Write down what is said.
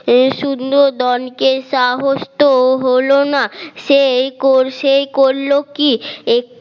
সুনন্দনকে সাহস তো হলো না সেই সে করলো কি